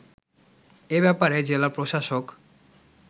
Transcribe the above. এ ব্যাপারে জেলা প্রশাসক